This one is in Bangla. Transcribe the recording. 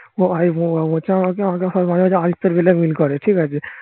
সবাই মাঝে মাঝে আদিত্যর মিলে মিল করে